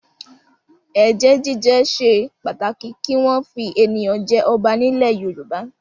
Ẹ̀jẹ̀ jíjẹ ṣe pàtàkì kí wọ́n fi ènìyàn jẹ ọba nílẹ̀ Yorùbá.